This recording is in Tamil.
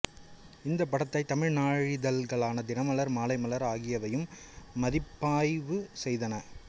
இந்தப் படத்தை தமிழ் நாளிதழ்களான தினமலர் மாலைமலர் ஆகியவையும் மதிப்பாய்வு செய்தன